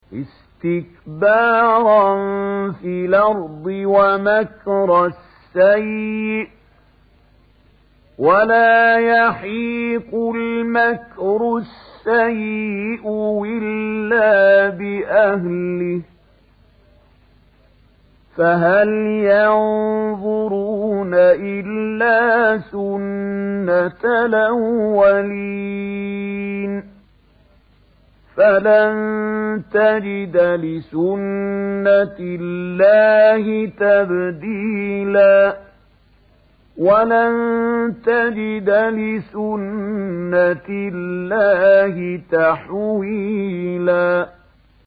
اسْتِكْبَارًا فِي الْأَرْضِ وَمَكْرَ السَّيِّئِ ۚ وَلَا يَحِيقُ الْمَكْرُ السَّيِّئُ إِلَّا بِأَهْلِهِ ۚ فَهَلْ يَنظُرُونَ إِلَّا سُنَّتَ الْأَوَّلِينَ ۚ فَلَن تَجِدَ لِسُنَّتِ اللَّهِ تَبْدِيلًا ۖ وَلَن تَجِدَ لِسُنَّتِ اللَّهِ تَحْوِيلًا